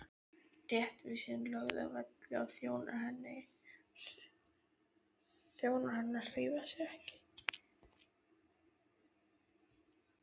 Réttvísin lögð að velli og þjónar hennar hreyfa sig ekki!